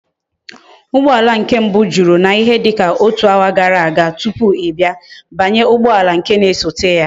Ugboala nke mbu juru na ihe dika otu hour gara aga tupu i bia, banye ugboala nke na esote ya!